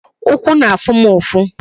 Ụkwụ na-afụ m ụfụ